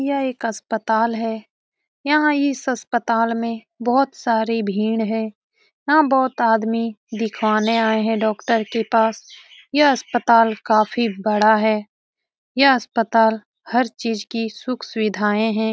यह एक अस्पताल है । यहाँ इस अस्पताल में बोहोत सारी भीड़ हैं । यहाँ बोहोत आदमी दिखवाने आए हैं डॉक्टर के पास । यह अस्पताल काफी बड़ा है ।यह अस्पताल हर चीज की सुख सुविधाए हैं ।